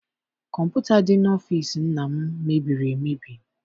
Kọmputa dị n'ọfịịsi nna m mebiri emebi.